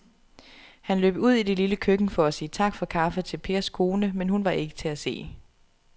Han løb ud i det lille køkken for at sige tak for kaffe til Pers kone, men hun var ikke til at se.